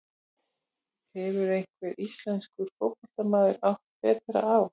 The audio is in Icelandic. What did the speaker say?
Hefur einhver íslenskur fótboltamaður átt betra ár?